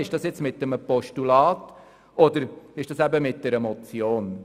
Mit einem Postulat oder einer Motion?